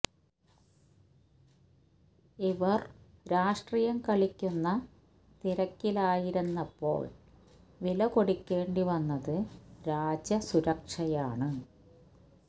ഇവര് രാഷ്ട്രീയം കളിക്കുന്ന തിരക്കിലായിരുന്നപ്പോള് വില കൊടുക്കേണ്ടി വന്നത് രാജ്യ സുരക്ഷയാണ്